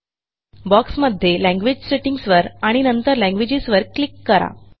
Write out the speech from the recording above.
बॉक्समध्ये language settings वर आणि नंतर लँग्वेजेस वर क्लिक करा